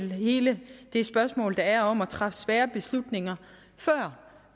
med hele det spørgsmål der er om at træffe svære beslutninger før